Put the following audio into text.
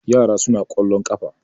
yara suna kwallon kafa